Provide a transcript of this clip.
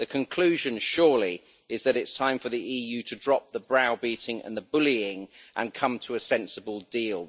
The conclusion surely is that it is time for the EU to drop the brow beating and the bullying and come to a sensible deal.